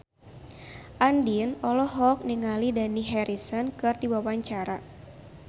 Andien olohok ningali Dani Harrison keur diwawancara